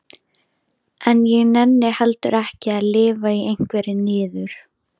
En ég nenni heldur ekki að lifa í einhverri niður